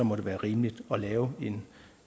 må det være rimeligt at lave